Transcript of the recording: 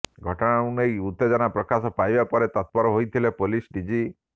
ଘଟଣାକୁ ନେଇ ଉତ୍ତେଜନା ପ୍ରକାଶ ପାଇବା ପରେ ତତ୍ପର ହୋଇଥିଲେ ପୁଲିସ ଡିଜି